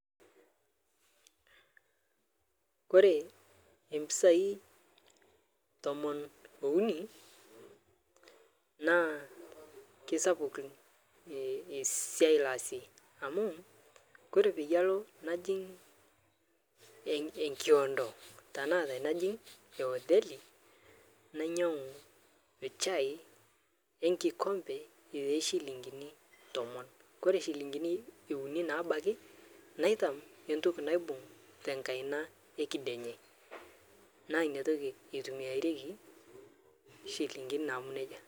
Kore empisai tomon ounii naa keisapuk esiai laazie amu Kore peyie aloo najing' enkiondoo tanaa tanajing' hoteli nainyang'u chai enkikompee te shilinginii tomon kore shilinginii eunii nabaki naitam entokii naibung' tenkaina ekidenyee naa inia tokii eitumiarekii shilinginii namuu nejaa.